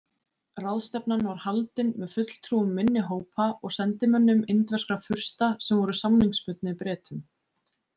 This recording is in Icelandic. Ráðstefnan var haldin með fulltrúum minni hópa og sendimönnum indverskra fursta sem voru samningsbundnir Bretum.